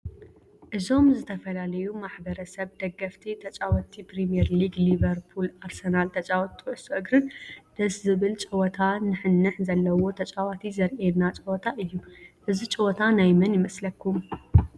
እዞም ዝተፈላለዮ ማሕበረሰብ ደገፍቲ ተጫወቲ ፕሪሚዬር ሊግ ሊበርፑልና አርሰናል ተጫወቲ ኩዕሶ እግርን ደሰ ዝብል ጨወታ ንሕንሕ ዘለዎ ተጫወቲ ዘርእየና ጨወታ እዮ ። እዚ ጨወታ ናይ መን ይመሰለኩም?